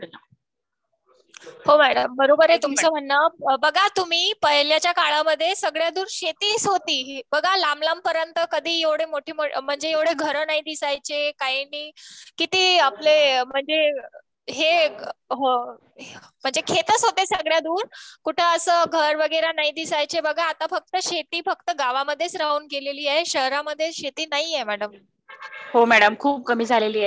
हो मॅडम, बरोबर आहे तुमचं म्हणन. बघा तुम्ही पहिल्याच्या काळामध्ये सगळ्यातुन शेतीच होतीचं बघा लांबलांब पर्यंत कधी एवढ्या घर नाही दिसायचे काही नाही किती म्हणजे. हे म्हणजे खेतच होते सगळ्या दूर म्हणजे कुठ असं घर वगैरे नाही दिसायचे. आता शेती फक्त गावामध्ये राहून गेलेली आहे आणि शेती शहरामध्ये नाहीय मॅडम.